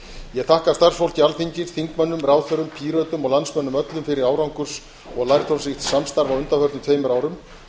ég þakka starfsfólki alþingis þingmönnum ráðherrum pírötum og landsmönnum öllum fyrir árangurs og lærdómsríkt samstarf á undanförnum tveimur árum